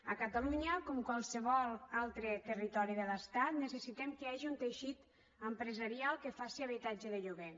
a catalunya com qualsevol altre territori de l’estat necessitem que hi hagi un teixit empresarial que faci habitatge de lloguer